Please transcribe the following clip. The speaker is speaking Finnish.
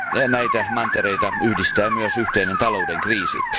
Näitä mantereita yhdistää myös yhteinen talouden kriisi.